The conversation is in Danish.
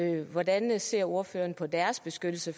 andet hvordan ser ordføreren på deres beskyttelse